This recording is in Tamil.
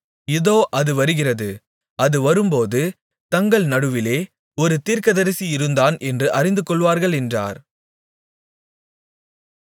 இதோ அது வருகிறது அது வரும்போது தங்கள் நடுவிலே ஒரு தீர்க்கதரிசி இருந்தான் என்று அறிந்துகொள்வார்கள் என்றார்